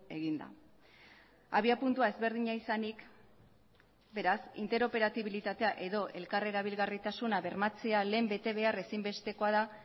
egin da abiapuntua ezberdina izanik beraz interoperabilitatea edo elkar erabilgarritasuna bermatzea lehen betebehar ezinbestekoa da